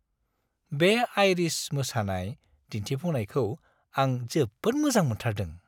बे आइरिश मोसानाय दिन्थिफुंनायखौ आं जोबोद मोजां मोनथारदों।